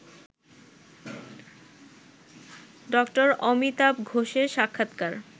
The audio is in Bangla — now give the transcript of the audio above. ড. অমিতাভ ঘোষের সাক্ষাৎকার